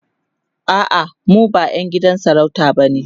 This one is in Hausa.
a'a mu ba ƴan gidan sarauta bane